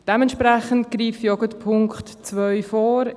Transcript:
Entsprechend greife ich auf den Punkt 2 vor.